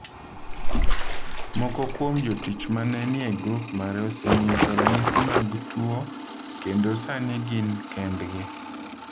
Moko kuom jotich ma ne ni e grup mare osenyiso ranyisi mag tuo kendo sani gin kendgi.